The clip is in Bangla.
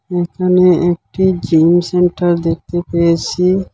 এখানে একটি জিম সেন্টার দেখতে পেয়েসি।